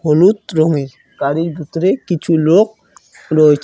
হলুদ রঙের গাড়ির ভিতরে কিছু লোক রয়েছে।